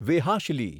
વેહાશલી